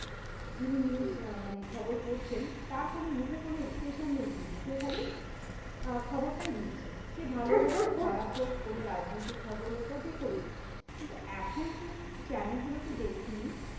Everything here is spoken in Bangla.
যিনি news মানে খবর পড়ছেন তার কোনো মুখের কোনো expression নেই কিন্তু, সে খালি আহ খবরটাই দিচ্ছে। সে ভালো হোক, খারাপ হোক, কোনো রাজনৈতিক খবর হোক বা যে কোনো কিন্তু এখন তুই channel গুলোতে দেখবি?